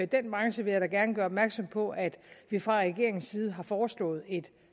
den branche vil jeg da gerne gøre opmærksom på at vi fra regeringens side har foreslået et